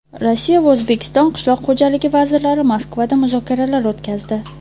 Rossiya va O‘zbekiston qishloq xo‘jaligi vazirlari Moskvada muzokaralar o‘tkazdi.